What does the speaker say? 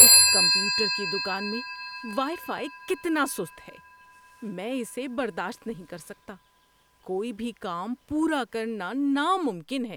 اس computer کی دکان میں وائی فائی کتنا سست ہے میں اسے برداشت نہیں کر سکتا۔ کوئی بھی کام پورا کرنا ناممکن ہے۔